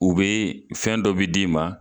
U be fɛn dɔ be d'i ma